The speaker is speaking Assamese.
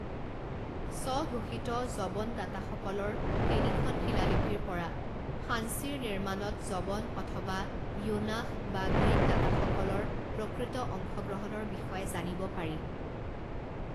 স্বঘোষিত যবন দাতাসকলৰ তিনিখন শিলালিপিৰ পৰা সাঞ্চিৰ নিৰ্মাণত যবন অথবা য়োনাস বা গ্ৰীক দাতাসকলৰ প্ৰকৃত অংশগ্ৰহণৰ বিষয়ে জানিব পাৰি।